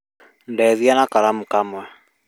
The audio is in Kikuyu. Ndeithia na karamu kamwe